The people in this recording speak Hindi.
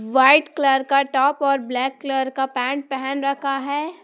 व्हाइट कलर का टॉप और ब्लैक कलर का पैंट पहन रखा है।